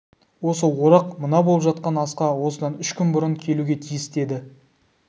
осы орақ мына болып жатқан асқа осыдан үш күн бұрын келуге тиісті еді